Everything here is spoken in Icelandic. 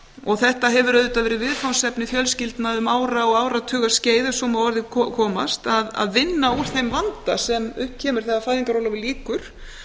og þetta hefur auðvitað verið viðfangsefni fjölskyldna um ára og áratuga skeið ef svo má að orði komast að vinna úr þeim vanda sem upp kemur þegar fæðingarorlofi lýkur